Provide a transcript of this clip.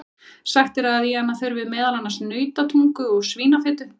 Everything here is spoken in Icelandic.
Sagt er að í hana þurfi meðal annars nautatungu og svínafitu.